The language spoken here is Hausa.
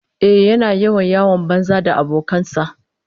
Ehh, yana yawan yawon banza da abokan sa